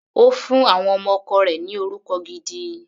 Ó fún àwọn ọmọ ọkọ rẹ̀ ni orúkọ gidi.